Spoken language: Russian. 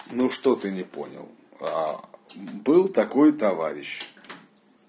ну что ты не понял был такой товарищ